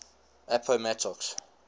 appomattox